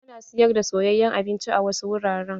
Ana siyar da soyayen abinci a wasu wuraren.